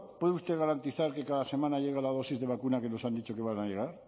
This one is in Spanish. puede usted garantizar que cada semana llega la dosis de vacuna que nos han dicho que van a llegar